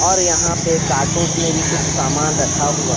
और यहां पे कार्टूंस में भी कुछ सामान रखा हुआ--